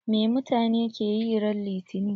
Me mutane ke yi ran litani?